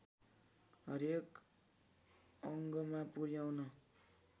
हरेक अङ्गमा पुर्‍याउन